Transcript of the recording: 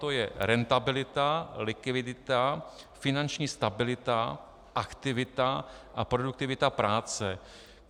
To je rentabilita, likvidita, finanční stabilita, aktivita a produktivita práce.